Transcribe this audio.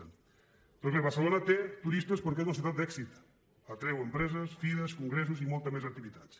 doncs bé barcelona té turistes perquè és una ciutat d’èxit atreu empreses fires congressos i moltes més activitats